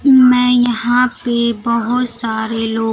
मैं यहां पे बहोत सारे लोग--